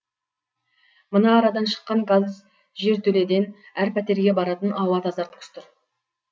мына арадан шыққан газ жертөледен әр пәтерге баратын ауа тазартқыш тұр